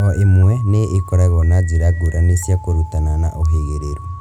O ĩmwe nĩ ĩkoragwo na njĩra ngũrani cia kũrutana na ũhĩgĩrĩru